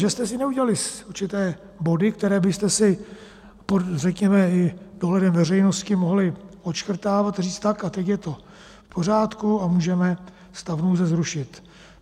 Že jste si neudělali určité body, které byste si, řekněme, i pod dohledem veřejnosti mohli odškrtávat, říct tak a teď je to v pořádku a můžeme stav nouze zrušit.